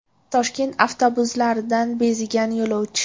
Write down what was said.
Toshkent avtobuslaridan bezigan yo‘lovchi.